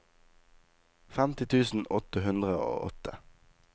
femti tusen åtte hundre og åtte